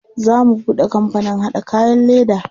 Za mu buɗe kampanin haɗa kayan leda.